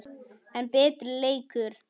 enn betri leikur.